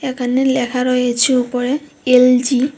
এখানে ল্যাখা রয়েছে উপরে এল_জি ।